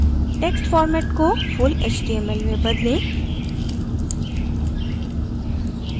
text format को full html में बदलें